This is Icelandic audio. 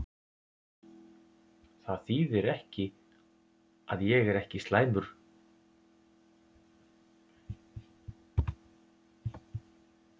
Það þýðir að ég er ekki slæmur leikmaður!